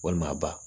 Walima ba